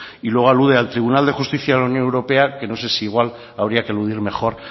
y luego alude al tribunal de justicia de la unión europea que no sé si igual habría que eludir mejor